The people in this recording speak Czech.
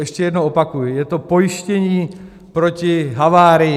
Ještě jednou opakuji, je to pojištění proti havárii.